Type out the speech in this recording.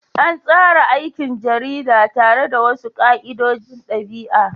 An tsara aikin jarida tare da wasu ka'idojin ɗabi'a.